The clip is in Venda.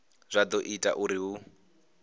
zwa do ita uri hu